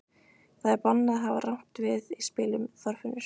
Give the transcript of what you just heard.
Það er bannað að hafa rangt við í spilum, Þorfinnur.